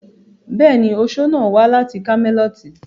Bẹ́ẹ̀ni, oṣo náà wà láti kámẹ́lọ́tì.